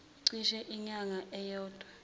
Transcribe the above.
cishe inyanga eyodwa